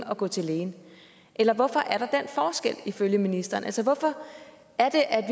at gå til lægen eller hvorfor er der den forskel ifølge ministeren altså hvorfor er det at